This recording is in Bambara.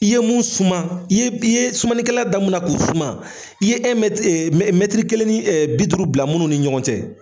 I ye mun suman ,i ye i ye sumanikɛla da nun na k'o suman, i ye ee kelen ni bi duuru bila munnu ni ɲɔgɔn cɛ